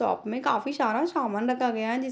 shop में काफी सारा सामान रखा गया है जिस --